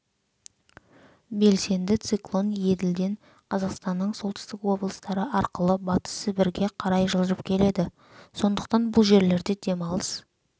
белсенді циклон еділден қазақстанның солтүстік облыстары арқылы батыс сібірге қарай жылжып келеді сондықтан бұл жерлерде демалыс